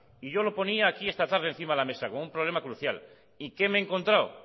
yo lo ponía aquí esta tarde encima de la mesa como un problema crucial y qué me he encontrado